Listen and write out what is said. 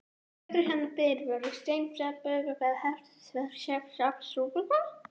Fjórir hinna fyrri voru úr steinsteypu, en aðrir úr stáli.